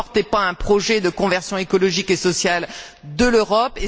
Vous ne portez pas un projet de conversion écologique et sociale de l'Europe.